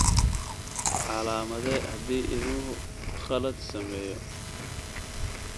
Calaamadee haddii ilmuhu khalad sameeyo.